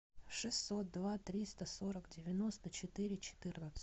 шестьсот два триста сорок девяносто четыре четырнадцать